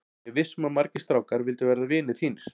Ég er viss um að margir strákar vildu verða vinir þínir.